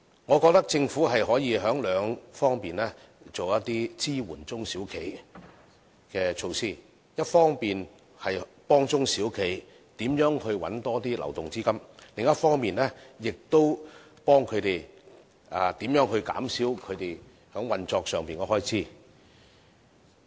我覺得政府可從兩方面進行一些支援小企的措施，一方面幫助中小企找尋更多流動資金；另一方面，亦幫助中小企減少運作上的開支。